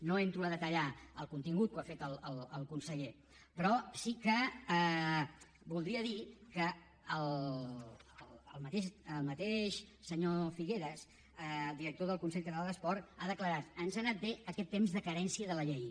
no entro a detallar el contingut ho ha fet el conseller però sí que voldria dir que el mateix senyor figueras director del consell català de l’esport ha declarat ens ha anat bé aquest temps de carència de la llei